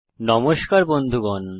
নমস্কার বন্ধুগণ